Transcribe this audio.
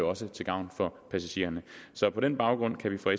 også til gavn for passagererne så på den baggrund kan vi fra